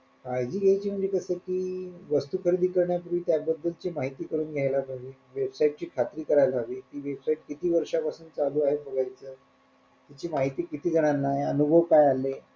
काळजी घेयची म्हणजे कस कि वस्तू खरेदी करण्यापूर्वी त्या बद्दलची माहिती करून घेयला पाहिजे website ची खात्री करायला हवी ती website किती वर्षापासून चालू आहे बघायच त्याची माहिती किती जणांनाय अनुभव काय आले,